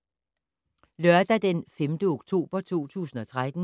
Lørdag d. 5. oktober 2013